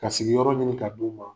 Ka sigiyɔrɔ ɲini ka d'u ma.